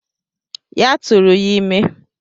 Ya turu ya ime